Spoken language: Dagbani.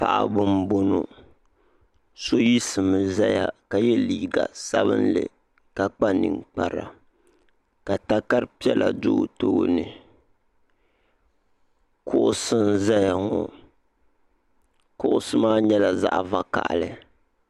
Paɣiba m-bɔŋɔ so yiɣisimi zaya ka ye liiga sabinli ka kpa ninkpara ka takar'piɛla do o tooni kuɣusi n-zaya ŋɔ kuɣusi maa nyɛla zaɣ'vakahili.